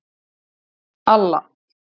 Alla